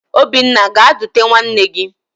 Obinna gaa dute nwanne gị!